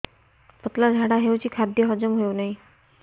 ପତଳା ଝାଡା ହେଉଛି ଖାଦ୍ୟ ହଜମ ହେଉନାହିଁ